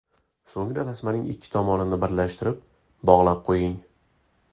So‘ngra tasmaning ikki tomonini birlashtirib, bog‘lab qo‘ying.